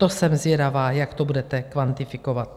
To jsem zvědavá, jak to budete kvantifikovat.